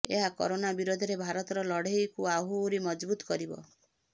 ଏହା କରୋନା ବିରୋଧରେ ଭାରତର ଲଢେଇକୁ ଆହୁରି ମଜବୁତ୍ କରିବ